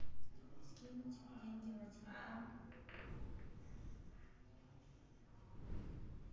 скинуть деньги на телефон